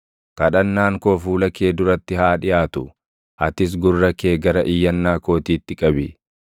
Kadhannaan koo fuula kee duratti haa dhiʼaatu; atis gurra kee gara iyyannaa kootiitti qabi.